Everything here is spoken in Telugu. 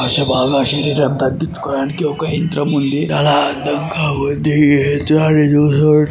బాగా శరీరం తగ్గించుకోవడానికి ఒక యంత్రం ఉంది. ఆ యంత్రం కాబట్టి--